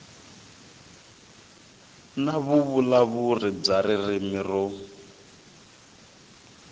na vuvulavuri bya ririmi ro